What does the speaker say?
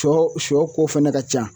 Cɔ sɔ ko fɛnɛ ka ca